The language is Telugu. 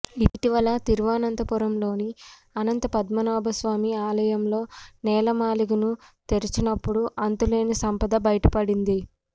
ఇటీవల తిరువనంతపురంలోని అనంతపద్మనాభ స్వామి ఆలయంలో నేలమాళిగను తెరిచినప్పుడు అంతులేని సంపద బయటపడింది